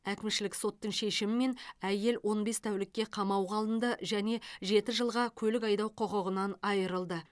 әкімшілік соттың шешімімен әйел он бес тәулікке қамауға алынды және жеті жылға көлік айдау құқығынан айырылды